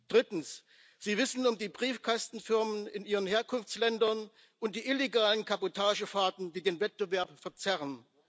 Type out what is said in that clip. Drittens Sie wissen um die Briefkastenfirmen in ihren Herkunftsländern und um die illegalen Kabotagefahrten, die den Wettbewerb verzerren.